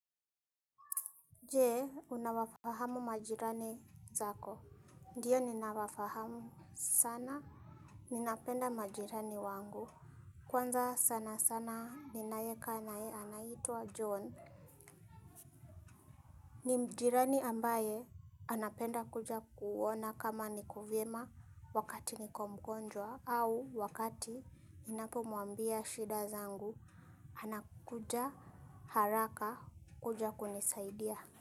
Je, unawafahamu majirani zako? Ndio ninawafahamu sana, ninapenda majirani wangu. Kwanza sana sana, ninayekaa na yeye, anaitwa John. Ni jirani ambaye, anapenda kuja kuona kama niko vyema wakati niko mgonjwa au wakati ninapo muambia shida zangu, anakuja haraka kuja kunisaidia.